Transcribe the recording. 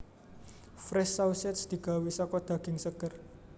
Fresh Sausage digawé saka daging seger